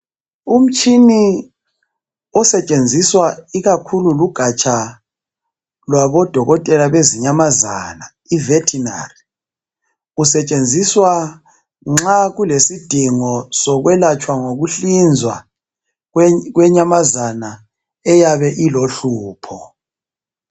Umtshini osetshenziswa ikakhulu lugaja lwabodokotela lwezinyamazana ivetinari kusetshenziswa nxa kulesidingo sokwelatshwa ngokuhlinzwa kwe kwenyamazana eyabe ilohlupho.